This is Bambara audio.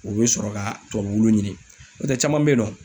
U be sɔrɔ ka tubabu wulu ɲini. N'o tɛ caman be yen nɔ